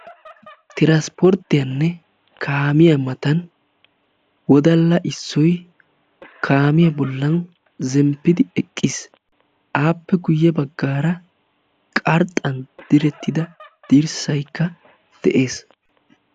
Tirasporttiyanne kaamiya matan wodalla issoy kaamiya bollan zemppidi eqqiis. Aappe guyye baggaara Qarxxan direttida dirssayikka de'ees.